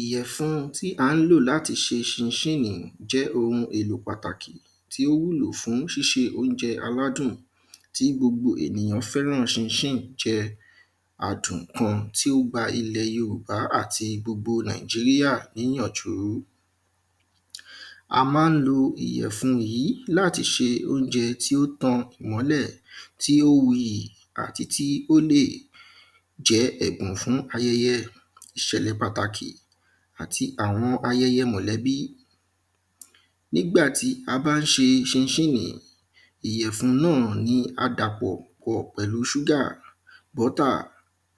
ìyẹ̀fun tí a ń lò láti ṣe ṣinṣínnì jẹ́ ohun èlò pàtàkì tí ó wúlò fún ṣíṣe oúnjẹ aládùn tí gbogbo èniyàn fẹ́ràn ṣinṣínnì jẹ adùn kan tí ó gba ilẹ̀ yorùbá àti gbogbo nàíjíríà ní ìyànjúú a ma ń lo ìyẹ̀fun yìí láti ṣe oúnjẹ tí ó tan ìmọ́lẹ̀, tí ó wuyì àti tí ó lè jẹ́ ẹ̀gbọ́n fún ayẹyẹ, ìṣẹ̀lẹ̀ pàtàkì àti àwọn ayẹyẹ mọ̀lẹ́bí. nígbà tí a bá ṣe ṣinṣínnì yìí, ìyẹ̀fun náà ní a dàpọ̀ pẹ̀lú ṣúgà bọ́tà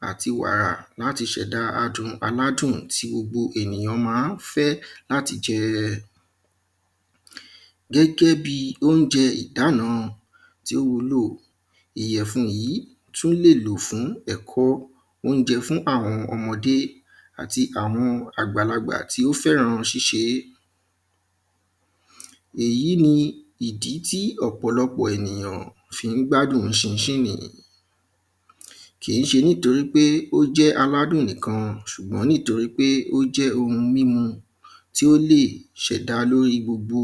àti wàrà láti ṣẹ̀dá adùn aládùn tí gbogbo ènìyàn ma ń fẹ́ láti máa jẹẹẹ gẹ́gẹ́bíi oúnjẹ ìdána tí ó wúlò, ìyẹ̀fun yìí tún lè lò fún ẹ̀kọ́ oúnjẹ fún àwọn ọmọdé àti àwọn àgbàlagbà tí ó fẹ́ran ṣíṣe é èyí ní ìdí tí ọ̀pọ̀lọ́pọ̀ ènìyàn fi ń gbádùn ṣinṣínnì yìí kìíṣe nítorí pé ó jẹ́ aládùn nìkan, ṣùgbọ́n nítorí pé ó jẹ́ ohun mímu tí ó lè ṣẹ̀dá lóri gbogbo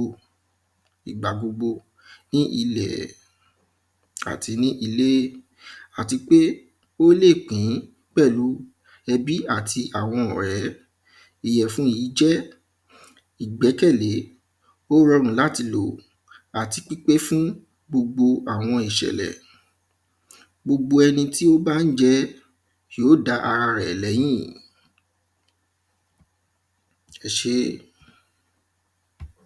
ìgbà gbogbo ní ilẹ̀ àti ní ilé. àti pé ó lè pín pẹ̀lú ẹbí àti àwọn ọ̀rẹ́ ìyẹ̀gun yìí jẹ́ ìgbẹ́kẹ̀lé, ó rọrùn láti lò àti pípé fún gbogbo àwọn ìṣẹ̀lẹ̀ gbogbo ẹni tí ó bá ń jẹ ẹ́, yóò dá ara rẹ̀ lẹ́yìn. ẹṣé